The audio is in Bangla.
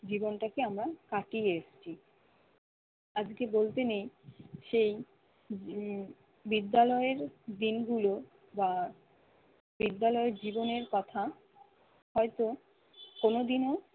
জীবনটাকে আমরা কাটিয়ে এসেছি। আজকে বলতে নেই সেই উম বিদ্যালয়ের দিনগুলো বা বিদ্যালয়ের জীবনের কথা হয়তো কোনদিনও